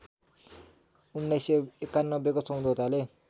१९९१ को सम्झौताले